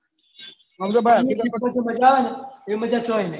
અમ જો ભાઈ આખી જોડે જે મજા આવે ને એ મજા કઈ નહી